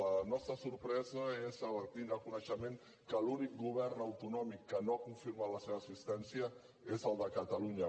la nostra sorpresa és al tindre coneixement que l’únic govern autonòmic que no ha confirmat la seva assistència és el de catalunya